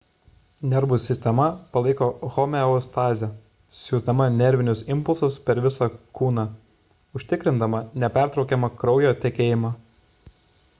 nervų sistema palaiko homeostazę siųsdama nervinius impulsus per visą kūną užtikrindama nepertraukiamą kraujo tekėjimą